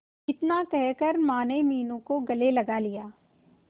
इतना कहकर माने मीनू को गले लगा लिया